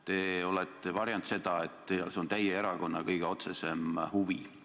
Te olete varjanud seda, et see on teie erakonna kõige otsesem huvi.